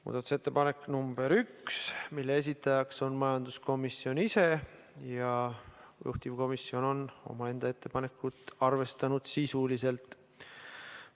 Muudatusettepanek nr 1, mille esitaja on majanduskomisjon ise ja juhtivkomisjon on omaenda ettepanekut arvestanud sisuliselt.